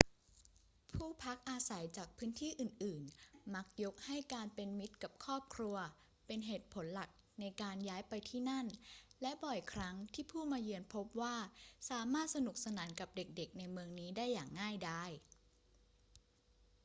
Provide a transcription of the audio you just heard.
ผู้พักอาศัยจากพื้นที่อื่น ๆ มักยกให้การเป็นมิตรกับครอบครัวเป็นเหตุผลหลักในการย้ายไปที่นั่น และบ่อยครั้งที่ผู้มาเยือนพบว่าสามารถสนุกสนานกับเด็ก ๆ ในเมืองนี้ได้อย่างง่ายดาย